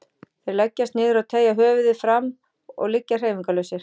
Þeir leggjast niður og teygja höfuðið fram og liggja hreyfingarlausir.